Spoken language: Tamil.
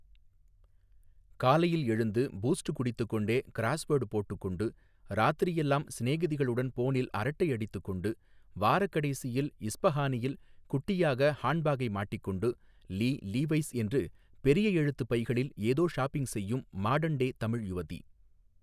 காலையில் எழுந்து பூஸ்ட் குடித்துக் கொண்டே க்ராஸ்வோர்ட் போட்டுக் கொண்டு ராத்திரி எல்லாம் சிநேகிதிகளுடன் போனில் அரட்டை அடித்துக் கொண்டு வாரக்கடைசியில் இஸ்ப்ஹானியில் குட்டியாக ஹாண்ட்பேக்கை மாட்டிக்கொண்டு லீ லிவைஸ் என்று பெரிய எழுத்து பைகளில் ஏதோ ஷாப்பிங் செய்யும் மாடர்ன் டே தமிழ் யுவதி.